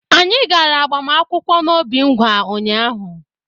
Anyị gaara agbamakwụkwọ n'Obingwa ụnyaahụ.